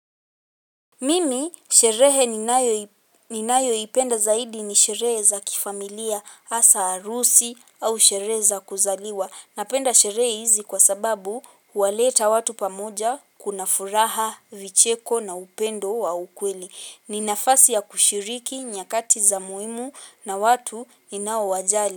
Mimi sherehe ninaio ipenda zaidi ni sherehe za kifamilia asa arusi au sherehe za kuzaliwa. Napenda sherehi izi kwa sababu waleta watu pamoja kunafuraha vicheko na upendo wa ukweli. Ninafasi ya kushiriki nyakati za muhimu na watu ina wajali.